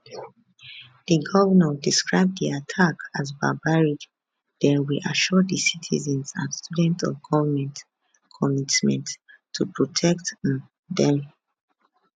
di govnor describe di attack as barbaric den reassure di citizens and students of goment commitment to protect um dem